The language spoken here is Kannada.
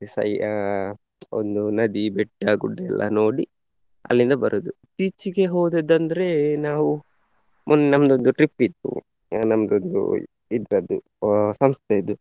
ಸೈ ಅಹ್ ಒಂದು ನದಿ, ಬೆಟ್ಟ, ಗುಡ್ಡ ಎಲ್ಲ ನೋಡಿ ಅಲ್ಲಿಂದ ಬರುದು. ಇತ್ತೀಚಿಗೆ ಹೋದದ್ದು ಅಂದ್ರೆ ನಾವು ಮುನ್~ ನಮ್ದೊಂದು trip ಇತ್ತು ಅಹ್ ಇದ್ರದ್ದು ಸಂಸ್ಥೆದು.